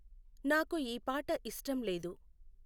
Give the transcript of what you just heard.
నాకు ఈ పాట ఇష్టం లేదు